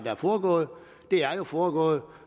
er foregået er jo foregået